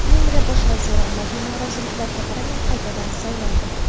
Vengriya bosh vaziri, ommaviy noroziliklarga qaramay, qaytadan saylandi.